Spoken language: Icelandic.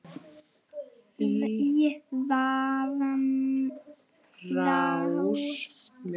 í rafrás